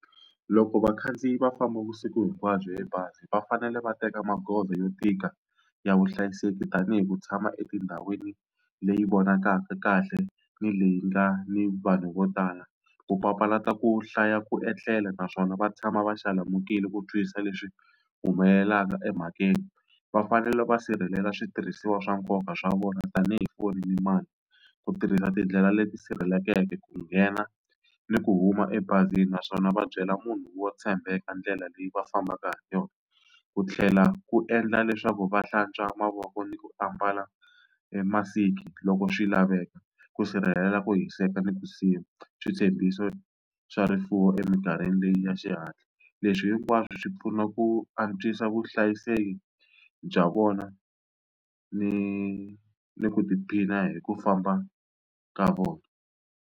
Loko vakhandziyi va famba vusiku hinkwabyo hi bazi va fanele va teka magoza yo tika ya vuhlayiseki tanihi ku tshama etindhawini leyi vonakaka kahle ni leyi nga ni vanhu vo tala, ku papalata ku hlaya ku etlela naswona va tshama va xalamukile ku twisisa leswi humelelaka emhakeni. Va fanele va sirhelela switirhisiwa swa nkoka swa vona tanihi foni ni mali, ku tirhisa tindlela leti sirheleleke ku nghena ni ku huma ebazini naswona va byela munhu wo tshembeka ndlela leyi va fambaka hi yona. Ku tlhela ku endla leswaku va hlantswa mavoko ni ku ambala e masiki loko swi laveka, ku sirhelela ku hiseka ni switshembiso swa rifuwo eminkarhini leyi ya xihatla. Leswi hinkwaswo swi pfuna ku antswisa vuhlayiseki bya vona ni ni ku tiphina hi ku famba ka vona.